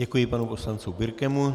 Děkuji panu poslanci Birkemu.